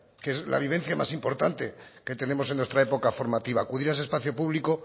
que es la vivencia más importante que tenemos en nuestra época formativa acudir a ese espacio público